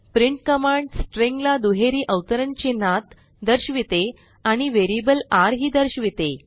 print command string ला दुहेरी अवतरण चिन्हात दर्शविते आणि वेरियबल r ही दर्शविते